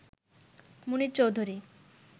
Munier Chowdhury